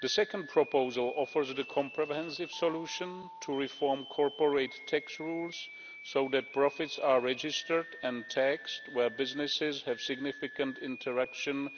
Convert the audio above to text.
The second proposal offers the comprehensive solution to reform corporate tax rules, so that profits are registered and taxed where businesses have significant interaction